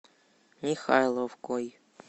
михайловкой